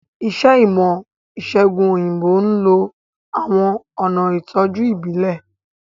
Iṣẹ́ ìmọ̀-ìṣẹ̀gùn òyìnbó ń lo àwọn ọ̀nà ìtọ́jú ìbílẹ̀.